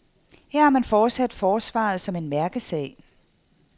Her har man fortsat forsvaret som en mærkesag.